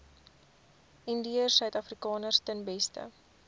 indiërsuidafrikaners ten beste